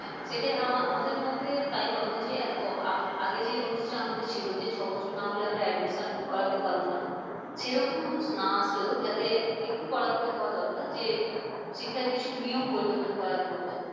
সেটাই আমা আমাদের মধ্যে তাই মনে হয় যে এত আগে যে rules আমাদের ছিল যে ছ বছর না হলে আমরা admission করাতে পারবো না সেরকম rules না আসলেও যাতে একটু করাকরি হওয়া দরকার যে শিক্ষার কিছু নিয়ম পরিবর্তন করা প্রয়োজন।